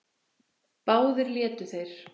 Báðir létu þeir